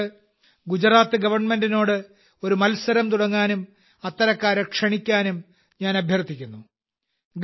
അതുകൊണ്ട് ഗുജറാത്ത് ഗവൺമെന്റിനോട് ഒരു മത്സരം തുടങ്ങാനും അത്തരക്കാരെ ക്ഷണിക്കാനും ഞാൻ അഭ്യർത്ഥിക്കുന്നു